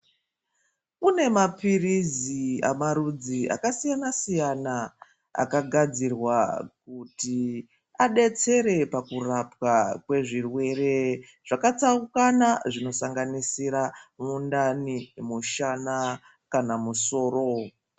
Kune maphirizi amarudzi akasiyana siyana akagadzirirwa kuti adetsere pakurapwa kwezvirwere zvakatsaukana zvinoshanganisira mundani, mushana kana musoro.